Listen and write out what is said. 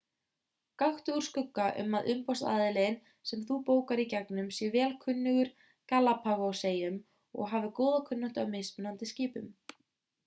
gakktu úr skugga um að umboðsaðilinn sem þú bókar í gegnum sé vel kunnugur galapagoseyjum og hafi góða kunnáttu á mismunandi skipum